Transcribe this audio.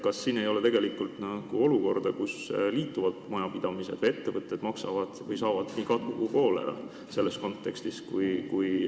Kas siin ei teki hoopis sellist olukorda, kus liituvad majapidamised või ettevõtted maksavad ja saavad nii katku kui ka koolera praeguste seaduste kontekstis?